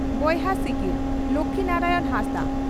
ᱵᱚᱭᱦᱟ ᱥᱤᱠᱲᱤ (ᱞᱚᱠᱷᱢᱤ ᱱᱟᱨᱟᱭᱚᱬ ᱦᱟᱸᱥᱫᱟ)